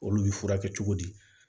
Olu y'i furakɛ cogo di